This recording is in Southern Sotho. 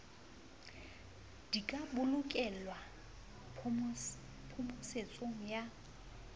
di ka bolokelwa phomosetso ya